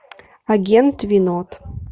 агент винод